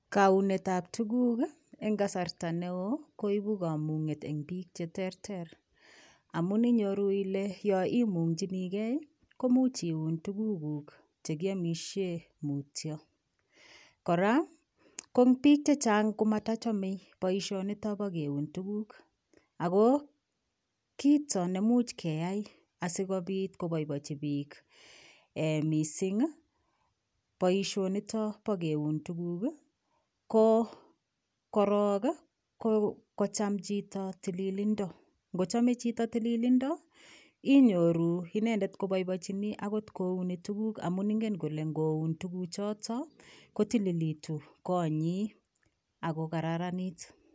Kounetab tukuk eng kasarta negoi koibu kamung'et eng piik che terter. Amun iyoru ile yoimung'chinigei imuch iun tugukuk chekiamishe mutio. Kora piik chechang komatachamei boishonitok bo keun tukuk. Ako kito nemuch keyai asikoboibochi piik mising boishonikot bo keun tukuk. Ko korok ko kocham chito tililindo. Ngochamei chito tililindo inyoru inendet koboibochini akot koun tukuk amun ingen kole ngoun tukuchotok kotililitu konyi ako kararanit.